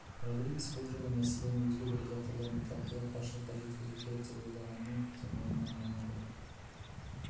родригес бұл жолы мәселені өзге де редакторлармен талқылап басшылыққа жеткізу керек деп ойлағанымен бірден ойынан айныды